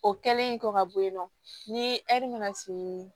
O kɛlen kɔ ka bɔ yen nɔ ni ɛri nana siri